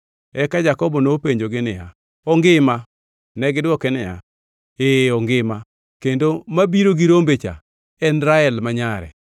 Eka Jakobo nopenjogi niya, “Ongima?” Negidwoke niya, “Ee, ongima, kendo mabiro gi rombe cha en Rael ma nyare.”